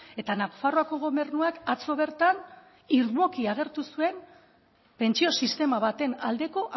eta nafarroako gobernuak atzo bertan irmoki agertu zuen pentsio sistema baten aldeko